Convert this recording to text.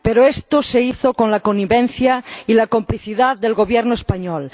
Pero esto se hizo con la connivencia y la complicidad del Gobierno español.